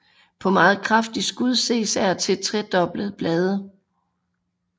På meget kraftige skud ses af og til trekoblede blade